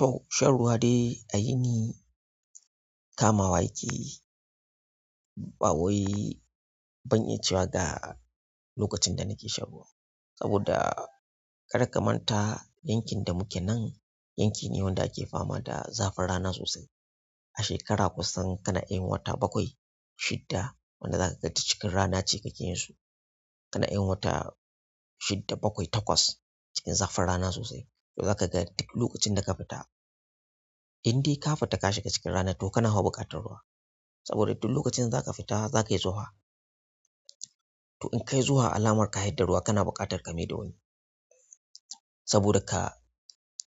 To shan ruwa dai a yini kamawa yake yi, ba wai, ban iya cewa ga lokacin da nake shan ruwa. Saboda kar ka manta yankin da muke nan, yanki ne wanda ake fama da zafin rana sosai. A shekara kusan kana iya yin wata bakwai, shidda wanda zaka ga duk cikin rana kake yin su kana yin wata shidda bakwai takwas cikin zafin rana sosai. Zaka ga duk lokacin da ka fita, in dai ka fita ka shiga cikin rana to kana fa buƙatar ruwa saboda duk lokacin da za ka fita za ka yi zuhwa. To in ka yi zuhwa alamar ka hidda ruwa kana buƙatar ka mai da wani. Saboda ka